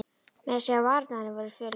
Meira að segja varirnar á henni voru fölar.